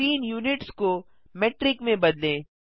scene units को metric में बदलें